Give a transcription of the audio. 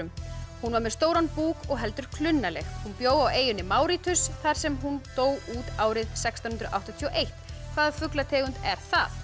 hún var með stóran búk og heldur klunnaleg hún bjó á eyjunni þar sem hún dó út árið sextán hundruð áttatíu og eitt hvaða fuglategund er það